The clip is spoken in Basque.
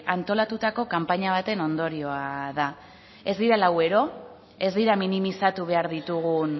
antolatutako kanpaina baten ondorioa da ez dira lau ero ez dira minimizatu behar ditugun